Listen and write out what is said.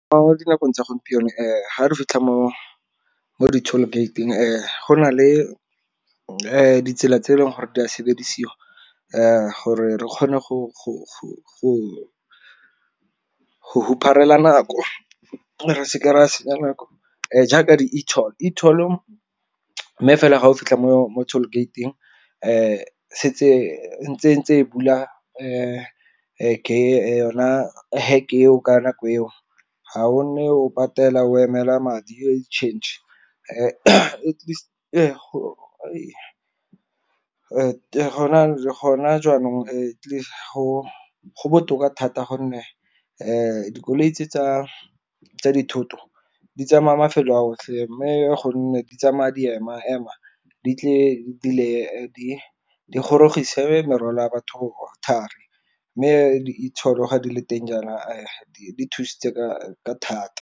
Mo dinakong tsa gompieno ga re fitlha mo di-toll gate-ing go na le ditsela tse e leng gore di a sebediswa gore re kgone go huparela nako re seke re a senya nako. Jaaka di-etoll-o, etoll mme fela ga o fitlha mo toll gate-ing se tse ntse e bula yona heke eo ka nako eo. Ga o nne o patela o emela madi tšhentšhe . Gona jaanong go botoka thata gonne dikoloi tse tsa dithoto di tsamaya mafelo a otlhe mme gonne di tsamaya di ema ema di gorogise merwalela a batho thari. Mme di-etoll ga di le teng jaana di thusitse ka thata.